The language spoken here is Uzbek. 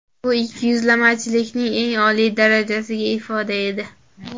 Bu ikkiyuzlamachilikning eng oliy darajadagi ifodasi edi.